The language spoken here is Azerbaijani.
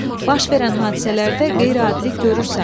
Baş verən hadisələrdə qeyri-adilik görürsənmi?